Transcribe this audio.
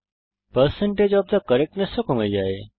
percentage of the correctness ও কমে যায়